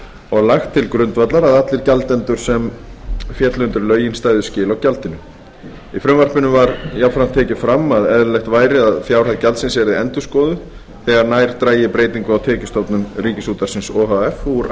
og lagt til grundvallar að allir gjaldendur sem féllu undir lögin stæðu skil á gjaldinu í frumvarpinu var jafnframt tekið fram að eðlilegt væri að fjárhæð gjaldsins yrði endurskoðuð þegar nær drægi breytingu á tekjustofnum ríkisútvarpsins o h f úr